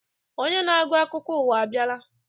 Onye na-agụ akụkọ ụwa abịala.